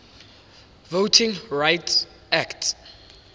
voting rights act